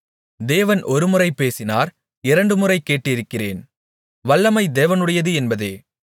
தேவன் ஒருமுறை பேசினார் இரண்டுமுறை கேட்டிருக்கிறேன் வல்லமை தேவனுடையது என்பதே